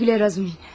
Güle güle Razumin.